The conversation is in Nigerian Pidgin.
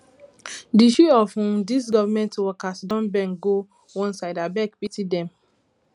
di shoe of um these government workers don bend go one side abeg pity dem